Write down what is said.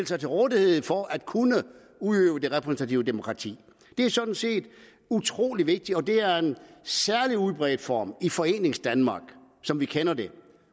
sig til rådighed for at kunne udøve det repræsentative demokrati det er sådan set utrolig vigtigt og det er en særlig udbredt form i foreningsdanmark som vi kender det